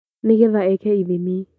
Nĩgetha eeke ithimi